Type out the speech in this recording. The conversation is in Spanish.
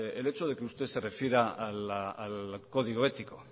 el hecho de que usted se refiera al código ético